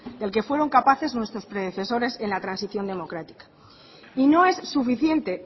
del que fueron capaces nuestros predecesores en la transición democrática y no es suficiente